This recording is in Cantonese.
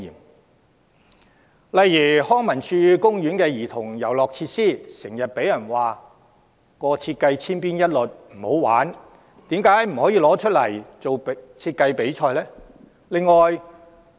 舉例來說，康文署公園的兒童遊樂設施，經常被人批評設計千篇一律、缺乏趣味，為甚麼不就此舉辦設計比賽？